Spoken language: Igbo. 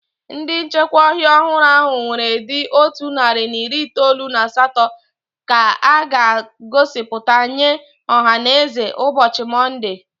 Ndị nchekwa ọhịa ọhụrụ ahụ ewere dị otu narị na iri itoolu na asatọ ka a ga-egosipụta nye ọhaneze ụbọchị Monde.